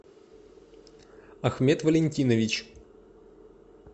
ахмед валентинович